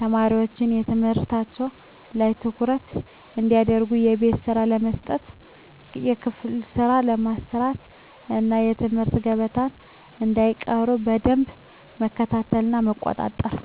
ተማሪዎች ትምህርታቸው ላይ ትኩረት እንዲያደርጉ የቤት ስራ በመስጠት የክፍል ስራ በማሰራት እና ከትምህርት ገበታቸው እንዳይቀሩ በደንብ መከታተልና መቆጣጠር።